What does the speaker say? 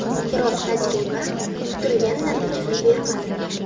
Biroq tajriba kutilgan natijani bermadi.